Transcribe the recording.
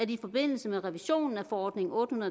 i forbindelse med revisionen af forordning otte